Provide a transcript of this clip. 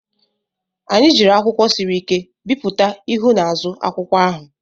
Anyị jiri akwụkwọ siri ike bipụta ihu na azụ akwụkwọ ahụ.